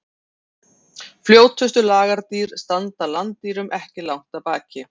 Fljótustu lagardýr standa landdýrunum ekki langt að baki.